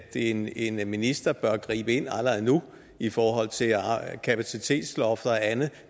en en minister bør gribe ind allerede nu i forhold til kapacitetslofter og andet